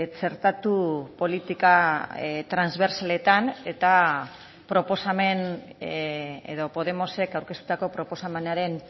txertatu politika transbertsaletan eta proposamen edo podemosek aurkeztutako proposamenaren